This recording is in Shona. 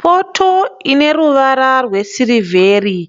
Poto ine ruvara rwesirivheri,